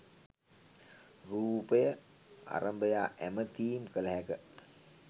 රුපය අරඹයා ඇමතීම් කල හැක